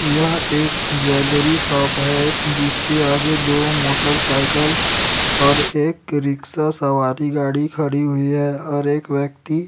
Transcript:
यह एक jewellery shop हैं जिसके आगे दो मोटरसाइकल और एक रिक्शा सवारी गाड़ी खड़ी हुई हैं और एक व्यक्ति --